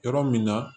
Yɔrɔ min na